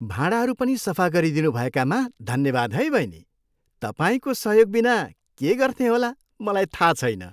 भाँडाहरू पनि सफा गरिदिनु भएकामा धन्यवाद है बहिनी। तपाईँको सहयोगबिना के गर्थेँ होला, मलाई थाहा छैन।